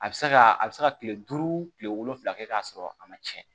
A bɛ se ka a bɛ se ka kile duuru kile wolonwula kɛ k'a sɔrɔ a ma tiɲɛ